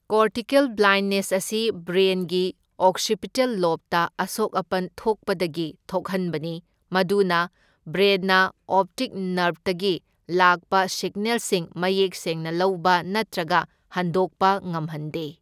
Cortical blindness ꯑꯁꯤ ꯕ꯭ꯔꯦꯟꯒꯤ occipital ꯂꯣꯕꯇ ꯑꯁꯣꯛ ꯑꯄꯟ ꯊꯣꯛꯄꯗꯒꯤ ꯊꯣꯛꯍꯟꯕꯅꯤ, ꯃꯗꯨꯅ ꯕ꯭ꯔꯦꯟꯅ ꯑꯣꯞꯇꯤꯛ ꯅꯔꯚꯇꯒꯤ ꯂꯥꯛꯄ ꯁꯤꯒꯅꯦꯜꯁꯤꯡ ꯃꯌꯦꯛ ꯁꯦꯡꯅ ꯂꯧꯕ ꯅꯠꯇ꯭ꯔꯒ ꯍꯟꯗꯣꯛꯄ ꯉꯝꯍꯟꯗꯦ꯫